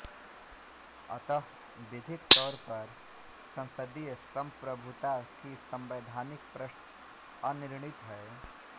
अतः विधिक तौरपर संसदीय संप्रभुता की संवैधानिक प्रश्न अनिर्णीत है